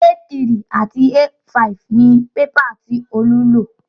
A3 àti A5 ni pépà tí Olú lò